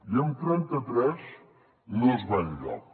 i amb trenta tres no es va enlloc